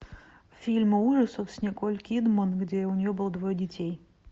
фильмы ужасов с николь кидман где у нее было двое детей